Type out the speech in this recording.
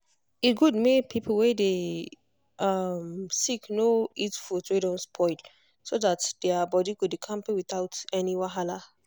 e good make people wey dey um sick no eat food wey don spoil so that their body go dey kampe without any wahala.